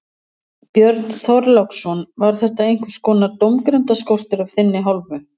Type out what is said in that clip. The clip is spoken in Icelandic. Björn Þorláksson: Var þetta einhvers konar dómgreindarskortur af þinni hálfu?